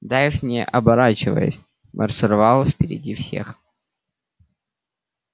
дейв не оборачиваясь маршировал впереди всех